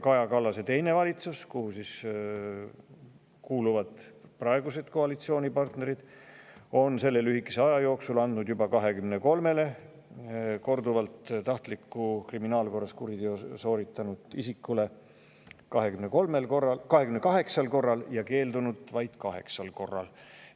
Kaja Kallase valitsus, kuhu kuulusid praegused koalitsioonipartnerid, andis selle lühikese aja jooksul tahtliku kuriteo korduvalt sooritanud isikule 28 korral ja keeldus sellest vaid 8 korral.